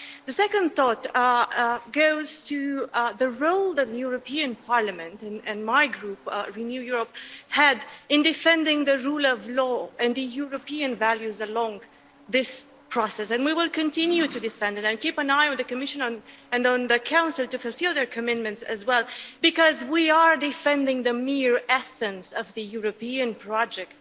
My second thought goes to the role the European Parliament and my Group Renew Europe had in defending the rule of law and European values along this process, and we will continue to defend it and keep an eye on the Commission and on the Council to fulfil their commitments as well, because we are defending the mere essence of the European project,